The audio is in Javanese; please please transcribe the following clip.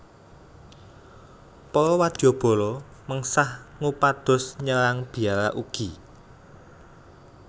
Para wadyabala mengsah ngupados nyerang biara ugi